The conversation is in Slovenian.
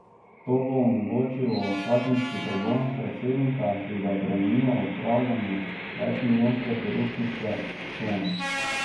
To bo omogočilo kazenski pregon predsednika, ki ga bremenijo upravljanja večmilijonske korupcijske sheme.